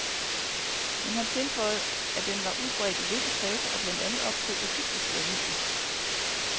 Men han tilføjede, at den var udbredt i visse kredse og blandt andet optog egyptiske aviser.